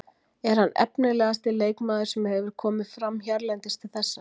Er hann efnilegasti leikmaður sem hefur hefur komið fram hérlendis til þessa?